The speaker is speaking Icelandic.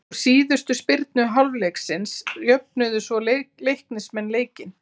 Úr síðustu spyrnu hálfleiksins jöfnuðu svo Leiknismenn leikinn.